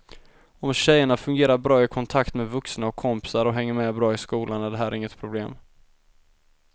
Om tjejerna fungerar bra i kontakt med vuxna och kompisar och hänger med bra i skolan är det här inget problem.